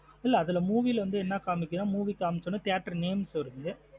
இல்ல அதுல movie லா வந்து என்ன காமிக்குது நா movie கமிச்சன theatrenames வருது.